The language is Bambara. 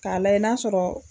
K'a layɛ n'a sɔrɔ